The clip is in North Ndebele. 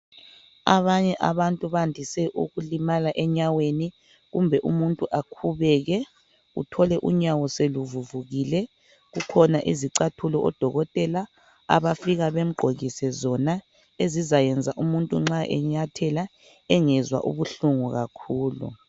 Abanye abantu bandise ukulimala enyaweni kumbe umuntu akhubeke uthole unyawo seluvuvukile kukhona izicathulo odokotela abafika bemgqokise zona umuntu nxa enyathela engezwa ubuhlungu kakhulu.